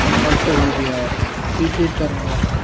ਅੰਤ ਹੋ ਗਿਆ। ਇਸੇ ਤਰ੍ਹਾਂ